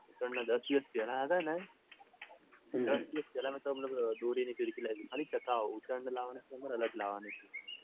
ઉત્તરાયણના દસ દિવસ પેલા છે ને દસ પેલા મેતો દોરીને ફીરકી લાવી દીધી ખાલી ચકાવા